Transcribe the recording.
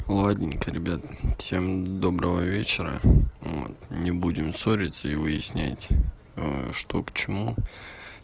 ладненько ребята всем доброго вечера не будем ссориться и выяснять что к чему